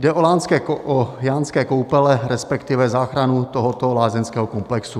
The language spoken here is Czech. Jde o Jánské Koupele, respektive záchranu tohoto lázeňského komplexu.